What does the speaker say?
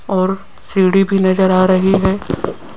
और सीढ़ी भी नजर आ रही है।